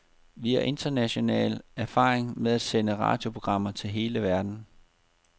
Vi har international erfaring med at sende radioprogrammer til hele verden.